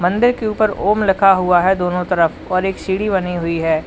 मंदिर के ऊपर ओम लिखा हुआ है दोनों तरफ और एक सीढ़ी बनी हुई है।